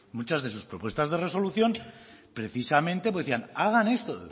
muchas de sus propuestas de resolución precisamente decían hagan esto